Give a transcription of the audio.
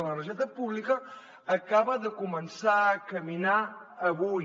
l’energètica pública acaba de començar a caminar avui